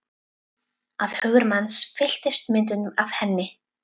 Að hugur hans fylltist myndum af henni.